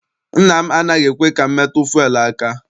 Nna m anaghị ekwe ka m metụ fuelu aka.